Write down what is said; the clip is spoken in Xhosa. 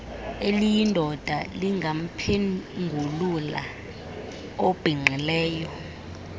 eliyindoda lingamphengulula obhinqileyo